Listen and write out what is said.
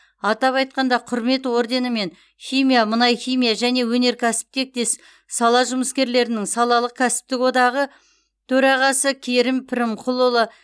атап айтқанда құрмет орденімен химия мұнайхимия және өнеркәсіп тектес сала жұмыскерлерінің салалық кәсіптік одағы төрағасы керім пірімқұлұлы